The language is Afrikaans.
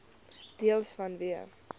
deels vanweë